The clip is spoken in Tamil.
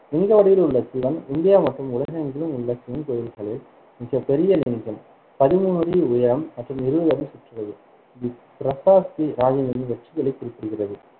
லிங்க வடிவில் உள்ள சிவன் இந்தியா மற்றும் உலகெங்கிலும் உள்ள சிவன் கோவில்களில் மிகப்பெரிய லிங்கம் பதிமூணு அடி உயரம் மற்றும் இருவது அடி சுற்றளவு தி பிரசஸ்தி ராஜேந்திரனின் வெற்றிகளைக் குறிப்பிடுகிறது